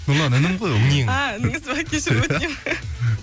нұрлан інім ғой а ініңіз бе кешірім өтінемін